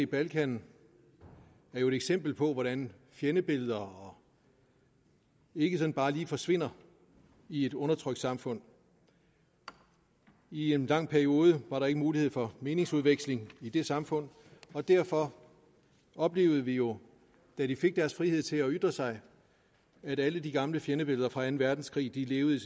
balkan er jo eksempler på hvordan fjendebilleder ikke sådan bare lige forsvinder i et undertrykt samfund i en lang periode var der ikke mulighed for meningsudveksling i de samfund og derfor oplevede vi jo da de fik deres frihed til at ytre sig at alle de gamle fjendebilleder fra anden verdenskrig levede